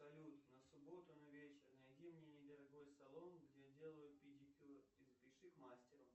салют на субботу на вечер найди мне недорогой салон где делают педикюр и запиши к мастеру